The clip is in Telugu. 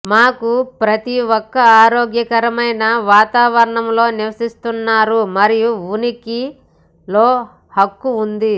మాకు ప్రతి ఒక ఆరోగ్యకరమైన వాతావరణంలో నివసిస్తున్నారు మరియు ఉనికిలో హక్కు ఉంది